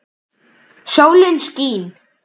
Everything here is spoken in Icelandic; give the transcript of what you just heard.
Sólin skín.